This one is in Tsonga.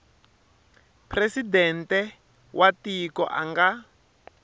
presidente wa tiko a nga